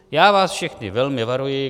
Já vás všechny velmi varuji.